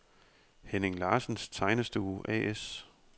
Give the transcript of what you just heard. Henning Larsens Tegnestue A/S